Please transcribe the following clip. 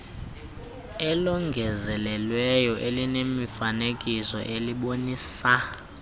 elongezelelweyo elinemifanekiso elibonisa